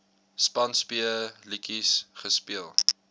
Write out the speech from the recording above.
spanspe letjies gespeel